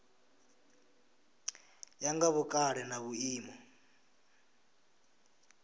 ya nga vhukale na vhuimo